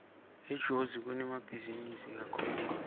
etozi kunemabhizinisi kakhulu